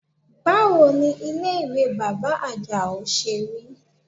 Báwo ni ilé ìwẹ̀ bàbá Àjàó ṣe rí?